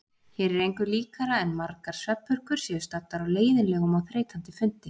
Hér er engu líkara en margar svefnpurkur séu staddar á leiðinlegum og þreytandi fundi.